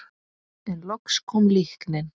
En loks kom líknin.